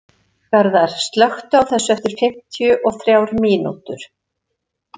Garðar, slökktu á þessu eftir fimmtíu og þrjár mínútur.